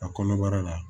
A kɔnɔbara la